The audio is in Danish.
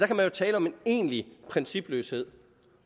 kan man jo tale om en egentlig principløshed